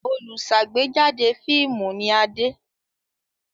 Olùṣàgbéjáde fíímù ni Adé.